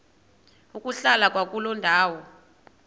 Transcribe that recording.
ukuhlala kwakuloo ndawo